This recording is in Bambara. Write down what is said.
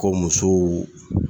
Ko muso